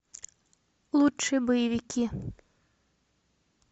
лучшие боевики